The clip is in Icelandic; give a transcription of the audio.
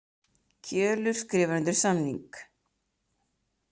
Kjölur skrifar undir samning